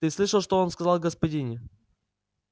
ты слышал что он сказал о господине